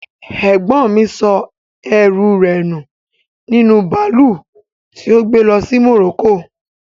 Ẹ̀gbọ́n mi sọ ẹrú rẹ̀ nu nínú bàálù tí ó gbe lọ sí Morocco